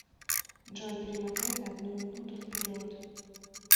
джой перемотай на одну минуту вперед